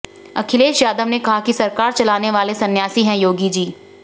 अखिलेश यादव ने कहा कि सरकार चलाने वाले सन्यासी है योगी जी